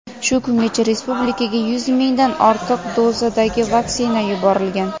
shu kungacha respublikaga yuz mingdan ortiq dozadagi vaksina yuborilgan.